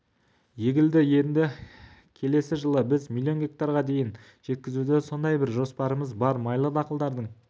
егілді енді келесі жылы біз миллион гектарға дейін жеткізуді сондай бір жоспарымыз бар майлы дақылдардың